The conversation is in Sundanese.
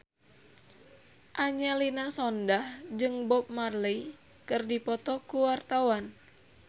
Angelina Sondakh jeung Bob Marley keur dipoto ku wartawan